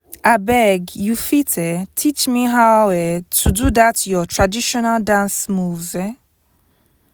abeg you fit um teach me how um to do that your traditional dance moves? um